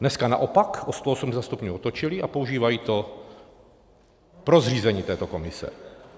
Dneska naopak o 180 stupňů otočili a používají to pro zřízení této komise.